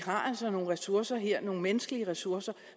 har nogle ressourcer her nogle menneskelige ressourcer